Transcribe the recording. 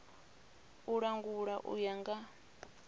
u langula u ya nga